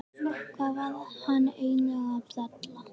Hvað var hann eiginlega að bralla?